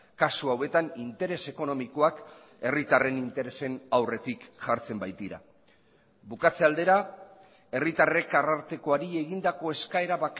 kasu hauetan interes ekonomikoak herritarren interesen aurretik jartzen baitira bukatze aldera herritarrek arartekoari egindako eskaera